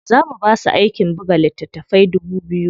Za mu basu aikin buga littatafai dubu biyu.